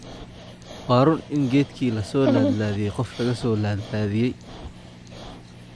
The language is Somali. Waa run in geedkii la soo laadlaadiyay qof laga soo laadlaadiyay